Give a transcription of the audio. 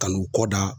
Kan'u kɔ da